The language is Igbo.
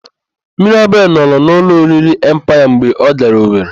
Mirabel nọrọ n'ụlọ oriri Empaya mgbe ọ gara Owere.